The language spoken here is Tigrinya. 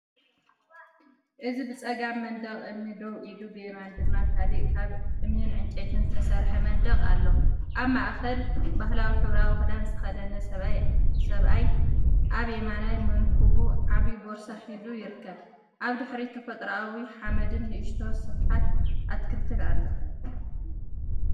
እዚ ብጸጋም መንደቕ እምኒ ደው ኢሉ፡ብየማን ድማ ካልእ ካብ እምንን ዕንጨይትን ዝተሰርሐ መንደቕ ኣሎ። ኣብ ማእከል ባህላዊ ሕብራዊ ክዳን ዝተኸድነ ሰብኣይ፡ኣብ የማናይ መንኵቡ ዓቢ ቦርሳ ሒዙ ይርከብ። ኣብ ድሕሪት ተፈጥሮኣዊ ሓመድን ንእሽቶ ስፍሓት ኣትክልትን ኣሎ።